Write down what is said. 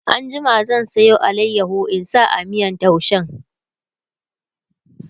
an jima zan Sayo alayaho in sa a miyan taushen